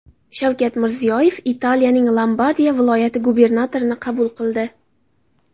Shavkat Mirziyoyev Italiyaning Lombardiya viloyati gubernatorini qabul qildi.